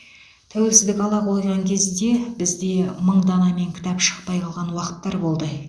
тәуелсіздік ала қойған кезде бізде мың данамен кітап шықпай қалған уақыттар болды